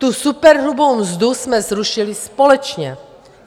Tu superhrubou mzdu jsme zrušili společně.